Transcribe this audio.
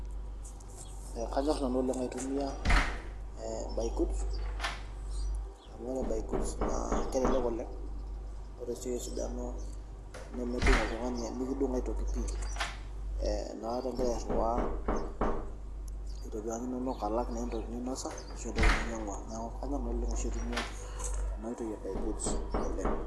Kanyor nanu oleng aitumiya buy goods amu ore buy goods naa kelelek oleng ,ore sii enkae sidano naa mikidung aitoki pi inakata ingira airiwaa alak naa entoki ninosa ashu entoki ninyangua .Neeku kanyor nanu aitumiyia entoki e buy goods oleng.